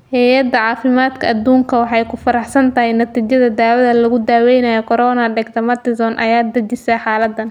Heyada cafimadka addunka waxay ku faraxsan tahay natiijada dawada lagu daweynayo corona Dexamethasone ayaa dejisa xaaladdan.